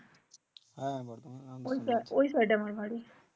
হ্যাঁ বর্ধমান